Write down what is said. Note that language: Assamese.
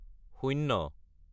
শূন্য